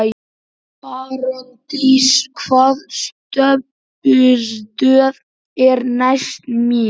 Branddís, hvaða stoppistöð er næst mér?